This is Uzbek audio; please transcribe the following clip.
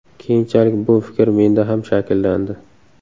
Keyinchalik bu fikr menda ham shakllandi.